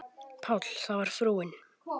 PÁLL: Það var frúin.